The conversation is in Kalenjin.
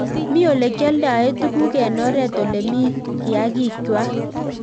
Mii olekealdae tuguk eng oret oleemi kiyakiig kwaak